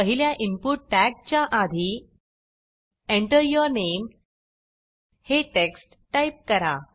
पहिल्या इनपुट टॅगच्या आधी Enter यूर नामे हे टेक्स्ट टाईप करा